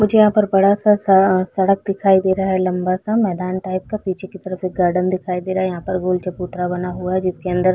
मुझे यहाँ पर बड़ा सा स सड़क दिखाई दे रहा है लम्बा सा मैदान टाइप का पीछे की तरफ गार्डन दिखाई दे रहा है यहाँ पर गोल चबूतरा बना हुआ है जिसके अंदर--